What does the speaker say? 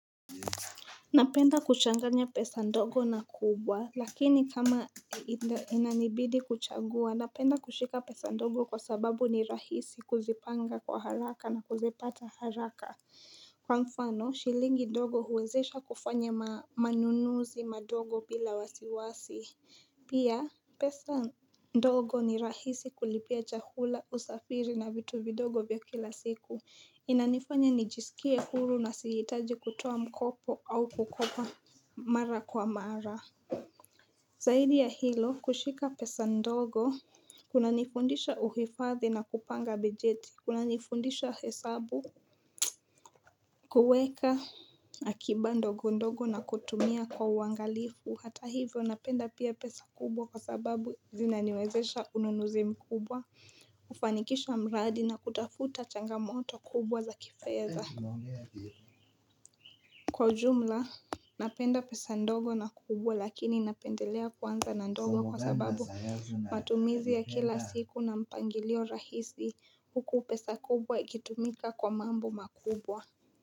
Napenda kuchanganya pesa ndogo na kubwa Lakini kama inanibidi kuchagua napenda kushika pesa ndogo kwa sababu ni rahisi kuzipanga kwa haraka na kuzipata haraka Kwa mfano shilingi ndogo huwezesha kufanya maa manunuzi madogo bila wasiwasi Pia pesa ndogo ni rahisi kulipia chahula usafiri na vitu vidogo vya kila siku Inanifanya nijisikie huru na siitaji kutoa mkopo au kukopa mara kwa mara Zahidi ya hilo kushika pesa ndogo Kuna nifundisha uhifathi na kupanga bejeti kunanifundisha hesabu kueka akiba ndogo ndogo na kutumia kwa uangalifu Hata hivyo napenda pia pesa kubwa kwa sababu zinaniwezesha ununuzi mkubwa kufanikisha mradi na kutafuta changamoto kubwa za kifedha Kwa ujumla, napenda pesa ndogo na kubwa lakini napendelea kwanza na ndogo kwa sababu matumizi ya kila siku na mpangilio rahisi huku pesa kubwa ikitumika kwa mambo makubwa.